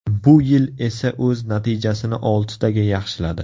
Bu yil esa o‘z natijasini oltitaga yaxshiladi.